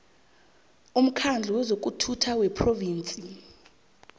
umkhandlu wezokuphatha wephrovinsi